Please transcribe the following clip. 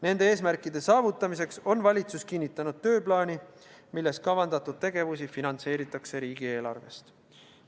Nende eesmärkide saavutamiseks on valitsus kinnitanud tööplaani, milles kavandatud tegevusi finantseeritakse riigieelarvest.